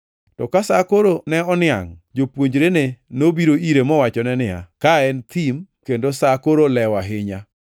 To ka sa koro ne oniangʼ, jopuonjrene nobiro ire mowachone niya, “Ka en thim kendo sa koro olewo ahinya.